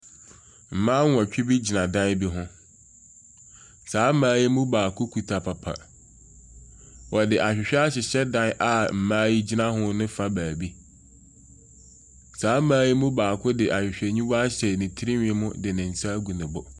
Mmaa nwɔtwe gyina dan bi ho, saa mmaa yi mu baako kita papa, wɔde ahwehwɛ ahyehyɛ dan a mmaa yi gyina ho ne fa beebi. Saa mmaa yi mu baako de ahwehwɛniwa ahyɛ ne tirihwi mu de ne nsa agu ne bo.